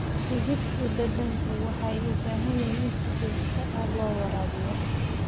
Dhirtu dhadhanka waxay u baahan yihiin in si joogto ah loo waraabiyo.